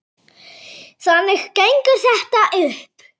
Þannig gengur þetta upp.